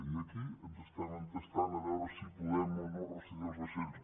i aquí ens estem entestant a veure si podem o no rescindir els vaixells